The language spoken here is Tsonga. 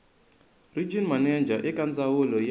regional manager eka ndzawulo ya